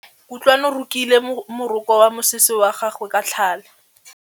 Kutlwanô o rokile morokô wa mosese wa gagwe ka tlhale.